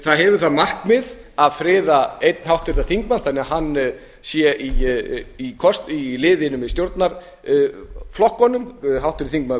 það hefur það markmið að friða einn háttvirtan þingmann þannig að hann sé í liðinu með stjórnarflokkunum háttvirtur þingmaður